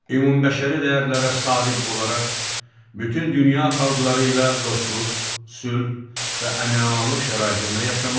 Ümumbəşəri dəyərlərə sadiq olaraq bütün dünya xalqları ilə dostluq, sülh və əmin-amanlıq şəraitində yaşamaq.